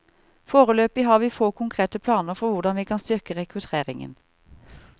Foreløpig har vi få konkrete planer for hvordan vi kan styrke rekrutteringen.